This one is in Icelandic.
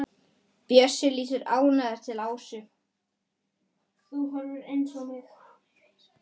Bjössi lítur ánægður til Ásu.